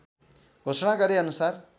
घोषणा गरे अनुसार